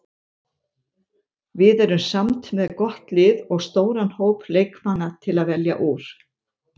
Við erum samt með gott lið og stóran hóp leikmanna til að velja úr.